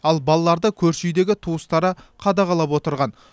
ал балаларды көрші үйдегі туыстары қадағалап отырған